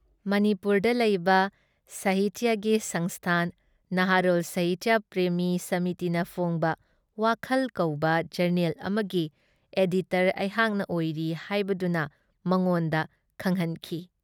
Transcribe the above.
ꯃꯥꯅꯤꯄꯨꯔꯗ ꯂꯩꯕ ꯁꯥꯍꯤꯇꯤꯌꯥꯁꯤ ꯁꯪꯁꯊꯥꯟ ꯅꯍꯥꯔꯣꯜ ꯁꯥꯍꯤꯇꯤꯌꯥ ꯄ꯭ꯔꯦꯃꯤ ꯁꯃꯤꯇꯤꯅ ꯐꯣꯡꯕ 'ꯋꯥꯈꯜ" ꯀꯧꯕ ꯖꯔꯅꯦꯜ ꯑꯃꯒꯤ ꯑꯦꯗꯤꯇꯔ ꯑꯩꯍꯥꯛꯅ ꯑꯣꯏꯔꯤ ꯍꯥꯏꯕꯗꯨꯅ ꯃꯉꯣꯟꯗ ꯈꯪꯍꯟꯈꯤ ꯫